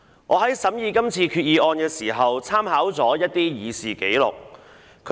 我在審議今次決議案時，參考了一些議事紀錄。